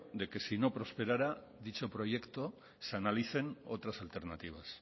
de que si no prosperara dicho proyecto se analicen otras alternativas